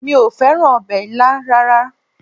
Mi ò fẹ́ràn ọbẹ̀ ilá rárá